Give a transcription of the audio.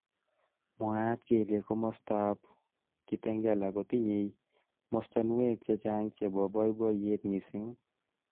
Mwaat kele kimostab ab Kitengela kotinyei mostonwek chechang chebo boiboyet missing